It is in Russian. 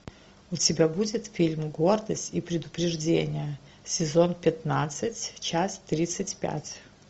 у тебя будет фильм гордость и предубеждение сезон пятнадцать часть тридцать пять